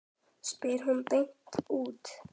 spyr hún beint út.